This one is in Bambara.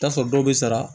I bi t'a sɔrɔ dɔw bɛ sara